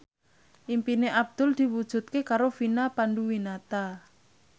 impine Abdul diwujudke karo Vina Panduwinata